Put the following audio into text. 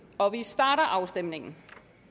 og vi starter afstemningen